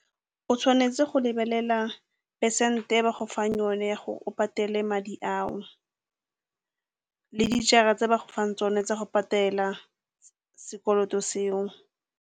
O tshwanetse go lebelela phesente e ba go fang yone ya gore o patele madi ao, le dijara tse ba go fang tsone tsa go patela sekoloto seo.